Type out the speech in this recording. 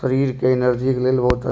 शरीर के एनर्जी के लेल बहुत अ --